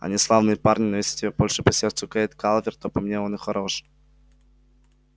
они славные парни но если тебе больше по сердцу кэйд калверт то по мне и он хорош